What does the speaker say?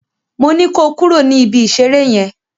Moní kó kúrò ní ibi ìṣeré yen!